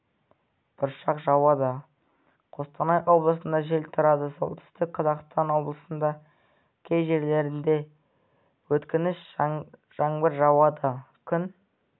бұршақ жауады қостанай облысында жел тұрады солтүстік қазақстан облысында кей жерлерде өткінші жаңбыр жауады күн